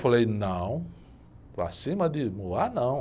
Falei, não, para cima de não...